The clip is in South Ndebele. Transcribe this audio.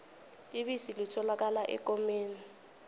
ibisi litholakala ekomeni